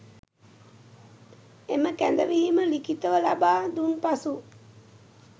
එම කැඳවීම ලිඛිතව ලබා දුන් පසු